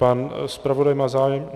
Pan zpravodaj má zájem?